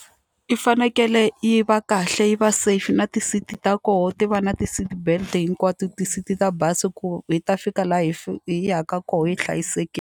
Yi fanekele yi va kahle yi va safe na ti-seat ta kona ti va na ti-seatbelt hinkwato ti-seat ta bazi ku hi ta fika laha hi hi yaka kona hi .